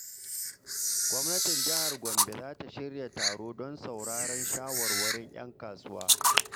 Gwamnatin Jihar Gombe za ta shirya taro don sauraron shawarwarin ‘yan kasuwa.